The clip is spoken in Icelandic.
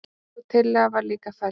Sú tillaga var líka felld.